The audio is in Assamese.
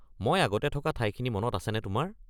মই আগতে থকা ঠাইখিনি মনত আছেনে তোমাৰ?